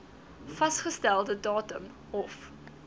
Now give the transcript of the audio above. vasgestelde datum hof